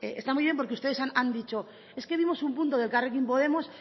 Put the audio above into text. está muy bien porque ustedes han dicho es que vimos un punto de elkarrekin podemos